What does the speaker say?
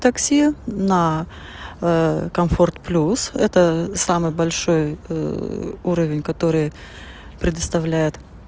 такси на комфорт плюс это самый большой уровень который предоставляет